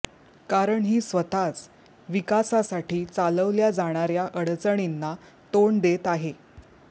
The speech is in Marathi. कारण ही स्वतःच विकासासाठी चालवल्या जाणार्या अडचणींना तोंड देत आहे